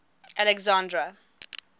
alexandra